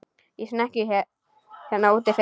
Í snekkju hérna úti fyrir!